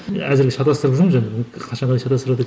әзірге шатастырып жүрміз енді қашанға дейін шатастырады